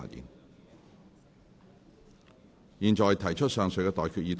我現在向各位提出上述待決議題。